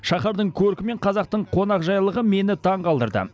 шаһардың көркі мен қазақтың қонақжайлығы мені таңғалдырды